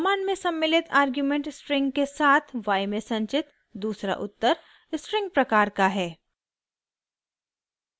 command में सम्मिलित argument string के साथ y में संचित दूसरा उत्तर स्ट्रिंग प्रकार का है